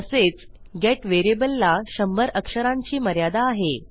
तसेच गेट व्हेरिएबलला शंभर अक्षरांची मर्यादा आहे